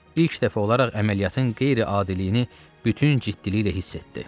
İlk dəfə olaraq əməliyyatın qeyri-adiliyini bütün ciddiliklə hiss etdi.